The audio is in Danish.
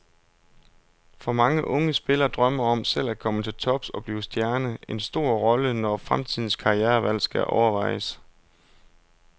For mange unge spiller drømmen om selv at komme til tops og blive stjerne en stor rolle, når fremtidens karrierevalg skal overvejes.